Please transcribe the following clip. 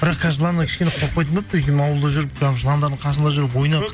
бірақ қазір жыланнан кішкене қорықпайтын болыппын ауылда жүріп жаңа жыландардың қасында жүріп ойнап